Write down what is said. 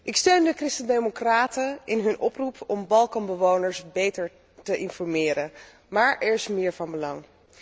Ik steun de Christendemocraten in hun oproep om Balkanbewoners beter te informeren, maar er is meer van belang.